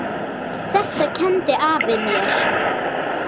Þetta kenndi afi mér.